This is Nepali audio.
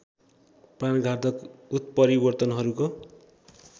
प्राणघातक उत्परिवर्तनहरूको